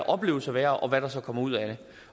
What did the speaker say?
opleves at være og hvad der så kommer ud af det